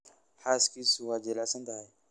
Xaaskiisu waa jilicsan tahay